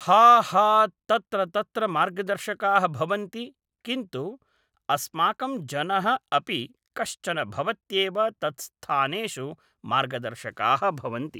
हा हा तत्र तत्र मार्गदर्शकाः भवन्ति किन्तु अस्माकं जनः अपि कश्चन भवत्येव तत्स्थानेषु मार्गदर्शकाः भवन्ति